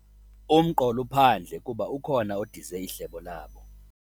Umqol' uphandle kuba ukhona odize ihlebo labo.